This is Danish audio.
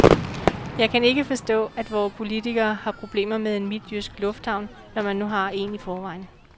Jeg kan ikke forstå, at vore politikere har problemer med en midtjysk lufthavn, når man nu har en i forvejen.